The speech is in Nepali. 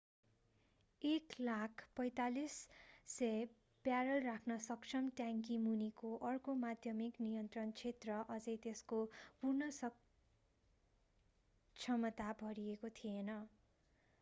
104,500 ब्यारेल राख्न सक्षम ट्याङ्की मुनिको अर्को माध्यमिक नियन्त्रण क्षेत्र अझै त्यसको पूर्ण क्षमतामा भरिएको थिएन